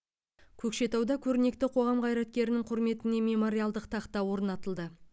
көкшетауда көрнекті қоғам қайраткерінің құрметіне мемориалдық тақта орнатылды